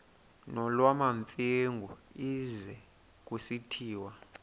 nolwamamfengu ize kusitiya